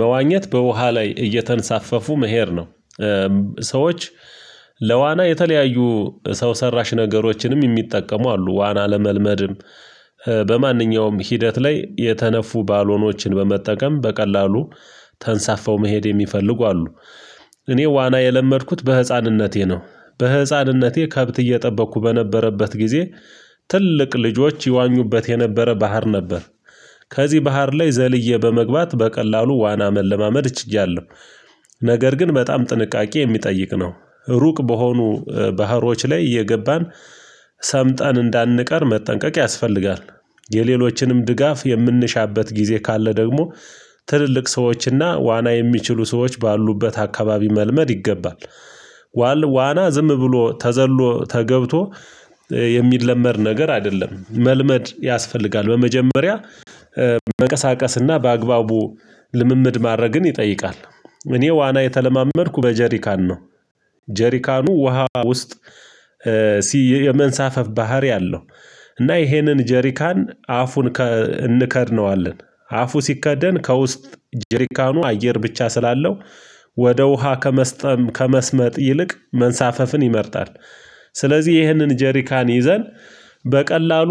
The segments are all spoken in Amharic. መዋኘት በውሃ ላይ እየተንሳፈፉ መሄድ ነው። ሰዎች ለዋና የተለያዩ ሰው ሰራሽ ነገሮችንም የሚጠቀሙ አሉ። ዋና ለመልመድም በማንኛውም ሂደት ላይ የተነፉ ባልሆኖችን በመጠቀም በቀላሉ ተንሳፈው መሄድ የሚፈልጉ አሉ። እኔ ዋና የለመድኩት በህፃንነቴ ነው በህፃንነቴ ከብት እየጠበቅኩ በነበረበት ጊዜ ትልቅ ልጆች ይዋኙበት የነበረ ባህር ነበር። ከዚህ ባህር ላይ ዘልዬ በመግባት በቀላሉ ዋና መለማመድ ችያለሁ። ነገር ግን በጣም ጥንቃቄ የሚጠይቅ ነ። ሩቅ በሆኑ ባህሮች ላይ እየገባን ሰምጠን እንዳንቀር መጠንቀቅ ያስፈልጋል። የሌሎችንም ድጋፍ የምንሻበት ጊዜ ካለ ደግሞ ትልልቅ ሰዎችና ዋና የሚችሉ ሰዎች ባሉበት አካባቢ መልመድ ይገባል። ዋና ዝም ብሎ ተዘሎ ተገብቶ የሚለመድ ነገር አይደለም። መልመድ ያስፈልጋል በመጀመሪያ መቀሳቀስና በአግባቡ ልምምድ ማድረግን ይጠይቃል። እኔ ዋና የተለማመድኩ በጀሪካን ነው ጀሪካኑ ውሃ ውስጥ የመንሳፈፍ ባህሪ አለው። እና ይሄንን ጀሪካን አፉን እንከድነዋለን አፉ ሲከደን ከውስጥ ጅሪካኑ አየር ብቻ ስላለው ወደ ውሃ ከመስጠም ከመስመጥ ይልቅ መንሳፈፍን ይመርጣል። ስለዚህ ይህንን ጀሪካን ይዘን በቀላሉ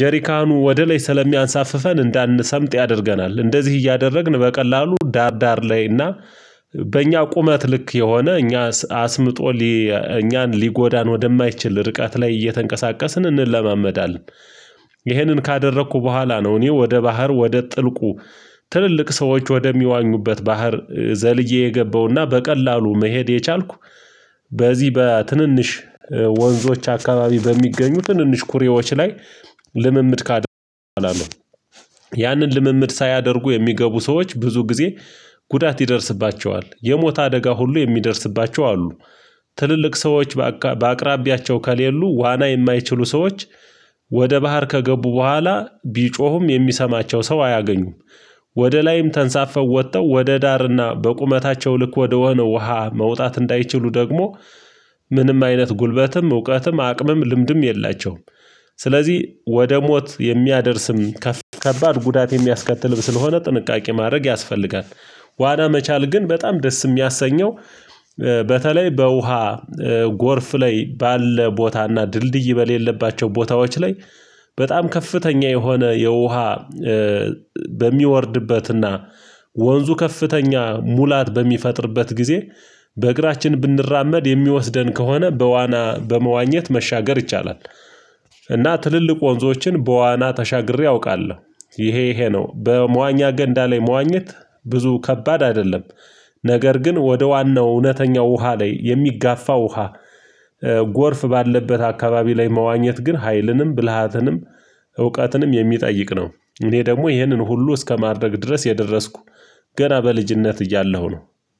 ጀሪካኑ ወደ ላይ ስለሚያንሳፍፈን። እንዳንሰምጥ ያደርገናል። እንደዚህ እያደረግን በቀላሉ ዳር ዳር ላይ እና በእኛ ቁመት ልክ የሆነ እኛ አስምጦ እኛን ሊጎዳን ወደማይችል ርቃት ላይ እየተንቀሳቀስን እንለማመዳለን። ይህንን ካደረኩ በኋላ ነው እኔ ወደ ባህር ወደ ጥልቁ ትልልቅ ሰዎች ወደሚዋኙበት ባህር ዘልዬ የገባውና በቀላሉ መሄድ የቻልኩ በዚህ በትንንሽ ወንዞች አካባቢ በሚገኙ ትንንሽ ኩሬዎች ላይ ልምምድ ካደረኩ በኃላ ነው። ያንን ልምምድ ሳያደርጉ የሚገቡ ሰዎች ብዙ ጊዜ ጉዳት ይደርስባቸዋል። የሞት አደጋ ሁሉ የሚደርስባቸው አሉ ትልልቅ ሰዎች በአቅራቢያቸው ከሌሉ ዋና የማይችሉ ሰዎች ወደ ባህር ከገቡ በኋላ ቢጮሁም የሚሰማቸው ሰው አያገኙም። ወደ ላይም ተንሳፈው ወጥተው ወደ ዳርና በቁመታቸው ልክ ወደ ወህነ ውሃ መውጣት እንዳይችሉ ደግሞ ምንም አይነት ጉልበትም እውቀትም አቅምም ልምድም የላቸውም። ስለዚህ ወደ ሞት የሚያደርስም ከባድ ከባድ ጉዳት የሚያስከትል ብስለሆነ ጥንቃቄ ማድረግ ያስፈልጋል። ዋና መቻል ግን በጣም ደስ የሚያሰኘው በተለይ በውሃ ጎርፍ ላይ ባለ ቦታና ድልድይ በሌለባቸው ቦታዎች ላይ በጣም ከፍተኛ የሆነ የውሃ በሚወርድበትና ወንዙ ከፍተኛ ሙላት በሚፈጥርበት ጊዜ በእግራችን ብንራመድ የሚወስደን ከሆነ በዋና በመዋኘት መሻገር ይቻላል። እና ትልልቅ ወንዞችን በዋና ተሻግሬ አውቃለሁ። ይሄ ይሄ ነው በመዋኛ ገንዳ ላይ መዋኘት ብዙ ከባድ አይደለም። ነገር ግን ወደ ዋናው እውነተኛው ውሃ ላይ የሚጋፋ ውሃ ጎርፍ ባለበት አካባቢ ላይ መዋኘት ግን ሀይልንም ብልሃትንም እውቀትንም የሚጠይቅ ነው እኔ ደግሞ ይህንን ሁሉ እስከማድረግ ድረስ የደረስኩ ገና በልጅነት እያለሁ ነው።